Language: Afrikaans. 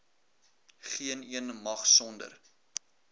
geeneen mag sonder